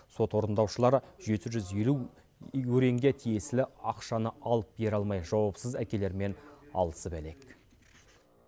сот орындаушылар жету жүз елу өренге тиесілі ақшаны алып бере алмай жауапсыз әкелермен алысып әлек